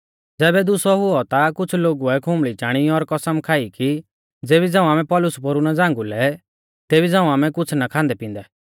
ज़ैबै दुसौ हुऔ ता कुछ़ लोगुऐ खुंबल़ी चाणी और कसम खाई कि ज़ेबी झ़ांऊ आमै पौलुस पोरु ना झ़ांगुलै तेबी झ़ांऊ आमै कुछ़ ना खांदै पिंदै